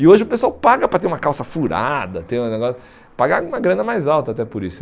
E hoje o pessoal paga para ter uma calça furada, ter um negó pagar uma grana mais alta até por isso.